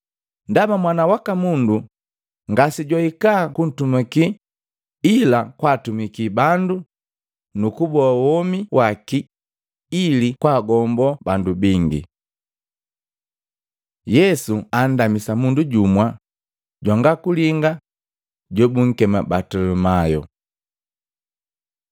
Ndaba Mwana waka Mundu ngasejwahika kuntumakila, ila kwaatumikii bandu nukuboa womi waki ili kwaagombo bandu bingi.” Yesu andamisa mundu jumu jwanga kulinga jobunkema Batilomayo Matei 20:29-34; Luka 18:35-43